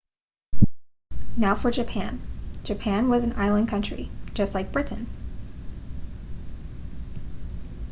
now for japan japan was an island country just like britain